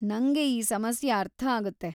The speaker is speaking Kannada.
ನಂಗೆ ಈ ಸಮಸ್ಯೆ ಅರ್ಥ ಆಗುತ್ತೆ.